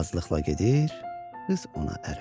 Razılıqla gedir qız ona ərə.